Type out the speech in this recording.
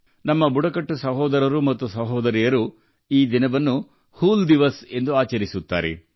ನಮ್ಮ ಬುಡಕಟ್ಟು ಸಹೋದರರು ಮತ್ತು ಸಹೋದರಿಯರು ಈ ದಿನವನ್ನು 'ಹೂಲ್ ದಿವಸ್' ಆಗಿ ಆಚರಿಸುತ್ತಾರೆ